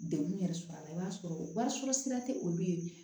Degun yɛrɛ sɔrɔ a la i b'a sɔrɔ wari sɔrɔ sira tɛ olu ye